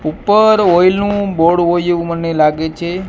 ઉપર ઓઈલ નુ બોર્ડ હોઇ એવુ મને લાગે છે.